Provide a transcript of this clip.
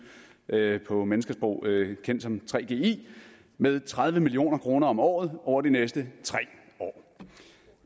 på menneskesprog kendt som gggi med tredive million kroner om året over de næste tre år